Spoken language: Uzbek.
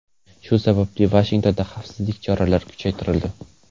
Shu sababli Vashingtonda xavfsizlik choralari kuchaytirildi .